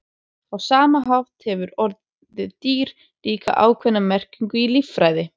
Á sama hátt hefur orðið dýr líka ákveðna merkingu í líffræði.